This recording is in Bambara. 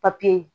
papiye